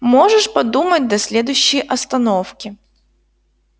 можешь подумать до следующей остановки